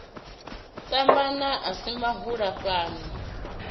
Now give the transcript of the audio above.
tanama a si mahola fhano